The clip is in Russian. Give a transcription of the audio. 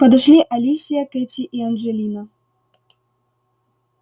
подошли алисия кэти и анджелина